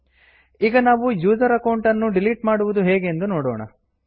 ಈಗ ನಾವು user account ನ್ನು ಡಿಲೀಟ್ ಹೇಗೆ ಮಾಡುವುದೆಂದು ನೋಡೋಣ